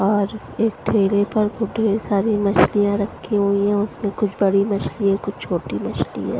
और एक ठेले पर खूब ढेर सारी मछलियाँ रखी हुई हैं उसमें कुछ बड़ी मछली है कुछ छोटी मछली है।